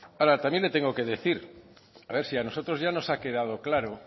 ahora también le tengo que decir a ver si a nosotros ya nos ha quedado claro